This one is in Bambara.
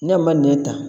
Ne ma nɛ ta